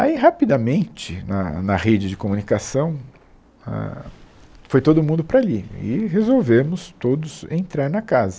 Aí, rapidamente, na na rede de comunicação, ah, foi todo mundo para ali e resolvemos todos entrar na casa.